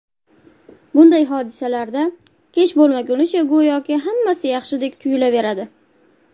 Bunday hodisalarda kech bo‘lmagunicha go‘yoki hammasi yaxshidek tuyulaveradi.